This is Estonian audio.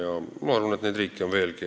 Ja ma arvan, et neid riike on veelgi.